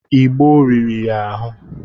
Igbo rìrì ya ahụ.